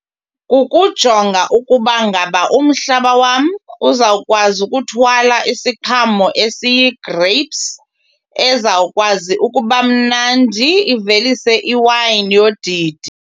Ukujonga ukuba ngaba umhlaba wam uzawukwazi ukuthwala isiqhamo esiyi-grapes ezawukwazi ukubamnandi ivelise iwayini yodidi.